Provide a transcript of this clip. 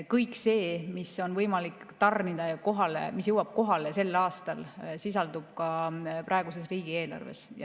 Kõik see, mida on võimalik tarnida ja mis jõuab kohale sel aastal, sisaldub ka praeguses riigieelarves.